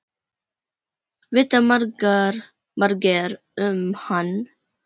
Vita margir um hann?